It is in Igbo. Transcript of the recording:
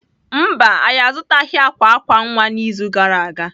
Mba, anyị azụtaghị akwa akwa nwa n'izu gara aga.